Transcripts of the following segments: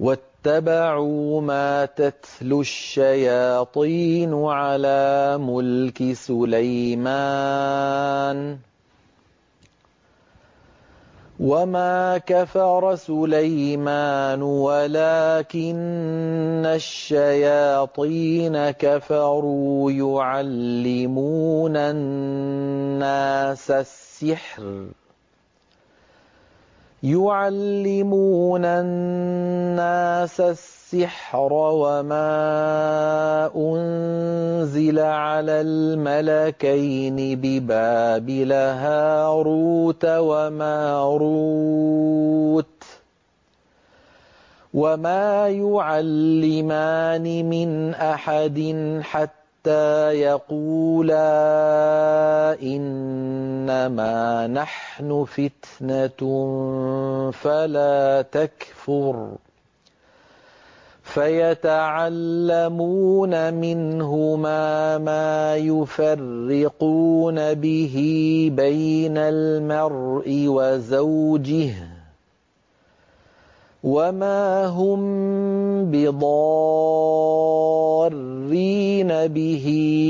وَاتَّبَعُوا مَا تَتْلُو الشَّيَاطِينُ عَلَىٰ مُلْكِ سُلَيْمَانَ ۖ وَمَا كَفَرَ سُلَيْمَانُ وَلَٰكِنَّ الشَّيَاطِينَ كَفَرُوا يُعَلِّمُونَ النَّاسَ السِّحْرَ وَمَا أُنزِلَ عَلَى الْمَلَكَيْنِ بِبَابِلَ هَارُوتَ وَمَارُوتَ ۚ وَمَا يُعَلِّمَانِ مِنْ أَحَدٍ حَتَّىٰ يَقُولَا إِنَّمَا نَحْنُ فِتْنَةٌ فَلَا تَكْفُرْ ۖ فَيَتَعَلَّمُونَ مِنْهُمَا مَا يُفَرِّقُونَ بِهِ بَيْنَ الْمَرْءِ وَزَوْجِهِ ۚ وَمَا هُم بِضَارِّينَ بِهِ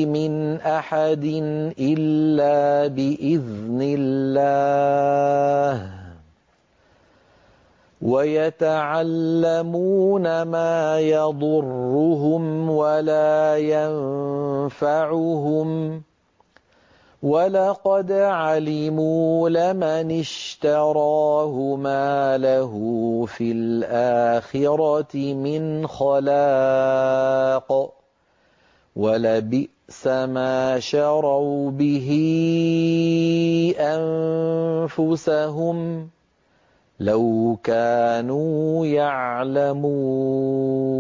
مِنْ أَحَدٍ إِلَّا بِإِذْنِ اللَّهِ ۚ وَيَتَعَلَّمُونَ مَا يَضُرُّهُمْ وَلَا يَنفَعُهُمْ ۚ وَلَقَدْ عَلِمُوا لَمَنِ اشْتَرَاهُ مَا لَهُ فِي الْآخِرَةِ مِنْ خَلَاقٍ ۚ وَلَبِئْسَ مَا شَرَوْا بِهِ أَنفُسَهُمْ ۚ لَوْ كَانُوا يَعْلَمُونَ